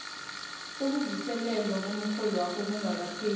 sokuvuselelwa komrholwakho kungakapheli